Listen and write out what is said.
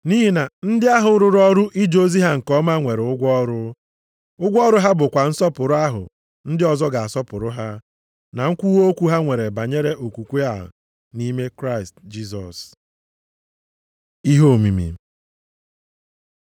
Nʼihi na ndị ahụ rụrụ ọrụ ije ozi ha nke ọma nwere ụgwọ ọrụ. Ụgwọ ọrụ ha bụkwa nsọpụrụ ahụ ndị ọzọ ga-asọpụrụ ha, na nkwuwa okwu ha nwere banyere okwukwe a nʼime Kraịst Jisọs. Ihe omimi